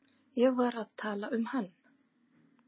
Ég var að tala um hann.